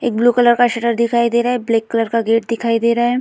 एक blue colour का shutter दिखाई दे रहा है। ब्लैक कलर का गेट दिखाई दे रहा है।